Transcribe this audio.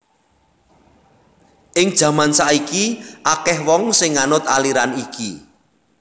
Ing jaman saiki akèh wong sing nganut aliran iki